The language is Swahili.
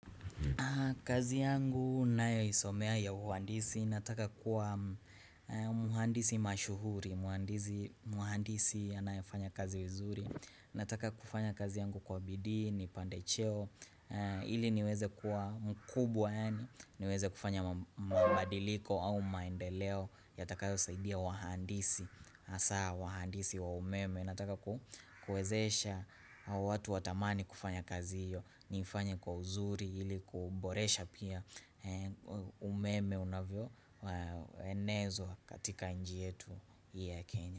Kazi yangu nayo isomea ya uhandisi, nataka kuwa muhandisi mashuhuri, hundandizi muhandisi anayefanya kazi vizuri, nataka kufanya kazi yangu kwa bidii, nipande cheo, ili niweze kuwa mkubwa yani, niweze kufanya mabadiliko au maendeleo, yatakao saidia wahandisi, hasa wahandisi wa umeme, nataka ku kuwezesha watu watamani kufanya kazi hiyo, nifanye kwa uzuri ili kuboresha pia umeme unavyo enezwa katika nji yetu ya Kenya.